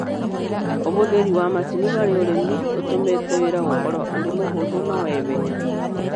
ũhũthĩri wa macini hari ũrĩmi ũtũmĩte wĩra gũkorwo ũri mũhũthu na wa ihenya.